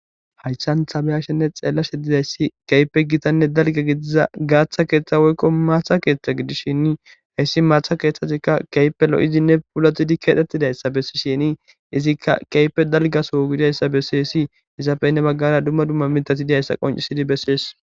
Hayssan tha be7ashenne xeellashe dizayssi keehippe githanne dalgga gidiza gaaththa keeththa woykko maatha keeththa gidishini heyssi maatha keeththathikka keehippe lo7izinne puulaththizi keexeththidayssa bessishiini izikka keehippe dalgga soho gidayssa beeththeesi; izappe hini baggara dumma dumma miththathi di7ayssa qonccissidi bessees.